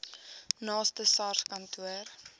naaste sars kantoor